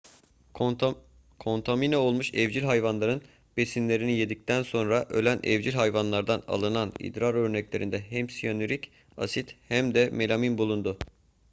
kontamine olmuş evcil hayvan besinlerini yedikten sonra ölen evcil hayvanlardan alınan idrar örneklerinde hem siyanürik asit hem de melamin bulundu